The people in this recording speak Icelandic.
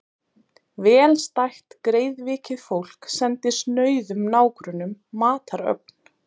Vel stætt greiðvikið fólk sendi snauðum nágrönnum matarögn.